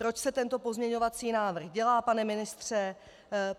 Proč se tento pozměňovací návrh dělá, pane ministře?